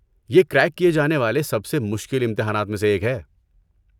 یہ کریک کیے جانے والے سب سے مشکل امتحانات میں سے ایک ہے۔